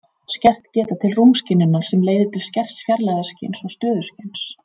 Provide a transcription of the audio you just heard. Skert geta til rúmskynjunar sem leiðir til skerts fjarlægðarskyns og stöðuskyns.